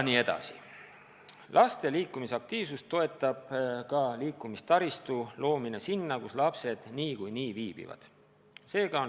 Laste liikumisaktiivsust toetab ka liikumistaristu loomine sinna, kus lapsed niikuinii viibivad.